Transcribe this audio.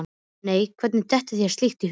Nei, hvernig dettur þér slíkt í hug?